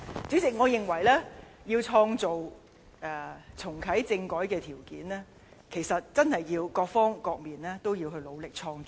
主席，我認為要創造重啟政改的條件，真的需要各方面共同努力。